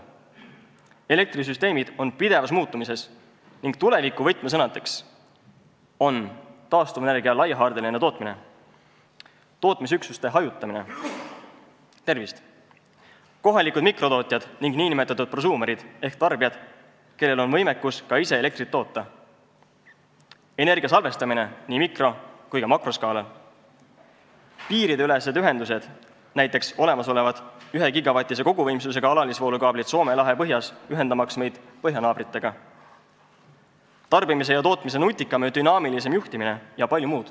Elektrisüsteemid on pidevas muutumises ning tuleviku võtmesõnadeks on taastuvenergia laiahaardeline tootmine, tootmisüksuste hajutamine, kohalikud mikrotootjad ning nn prosuumerid ehk tarbijad, kellel on võimekus ka ise elektrit toota, energia salvestamine nii mikro- kui ka makroskaalal, piiriülesed ühendused, näiteks olemasolevad ühegigavatise koguvõimsusega alalisvoolukaablid Soome lahe põhjas ühendamaks meid põhjanaabritega, tarbimise ja tootmise nutikam ja dünaamilisem juhtimine jpm.